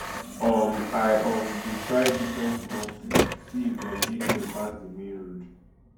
um i um dey try different small streets see if dem dey clear pass di main road